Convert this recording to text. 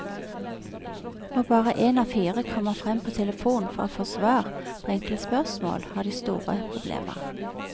Når bare én av fire kommer frem på telefon for å få svar på enkle spørsmål, har de store problemer.